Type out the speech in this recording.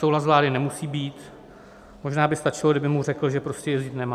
Souhlas vlády nemusí být, možná by stačilo, kdyby mu řekl, že prostě jezdit nemá.